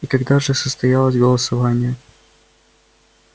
и когда же состоялось голосование